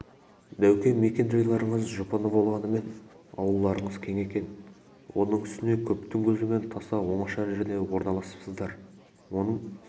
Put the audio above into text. дәуке мекен-жайларыңыз жұпыны болғанымен аулаларыңыз кең екен оның үстіне көптің көзінен таса оңаша жерде орналасыпсыздар оның